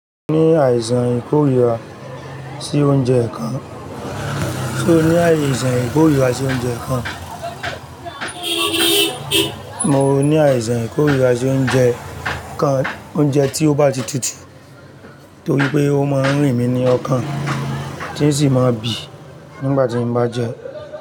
Mo ní àìsàn ìkórìíra sí oúnjẹ kan, ṣe o ní àìsàn ìkórìíra sí oúnjẹ kan? Mo ní àìsàn ìkórira sí oúnjẹ kan oúnjẹ tí o bá ti tutù torípé ó máa ń rìn mi lọ́kàn tòsí mo bí nígbà tí n bá jẹ.